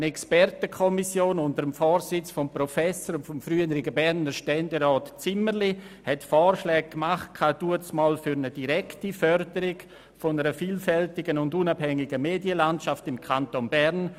Eine Expertenkommission unter dem Vorsitz des Professors und früheren Berner Ständerats Zimmerli machte damals Vorschläge für eine direkte Förderung einer vielfältigen und unabhängigen Medienlandschaft im Kanton Bern.